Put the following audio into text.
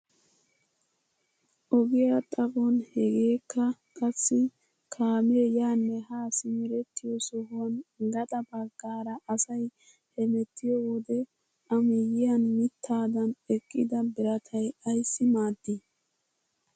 Ogiyaa xaphon hegeekka qassi kaamee yaanne haa simerettiyoo sohuwaan gaxa baggaara asay hemettiyoo wode a miyiyaan mittaadan eqqida biratay ayssi maaddii?